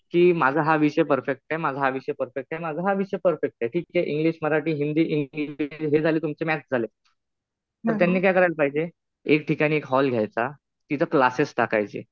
कि माझा हा विषय परफेक्ट आहे. माझा हा विषय परफेक्ट आहे. माझा हा विषय परफेक्ट आहे. इंग्लिश, मराठी, हिंदी, हे झाले तुमचे मॅथ्स झाले. तर त्यांनी काय करायला पाहिजे, एक ठिकाणी एक हॉल घ्यायचा. तिथं क्लासेस टाकायचे.